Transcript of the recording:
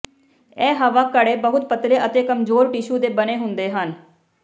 ਇਹ ਹਵਾ ਘੜੇ ਬਹੁਤ ਪਤਲੇ ਅਤੇ ਕਮਜ਼ੋਰ ਟਿਸ਼ੂ ਦੇ ਬਣੇ ਹੁੰਦੇ ਹਨ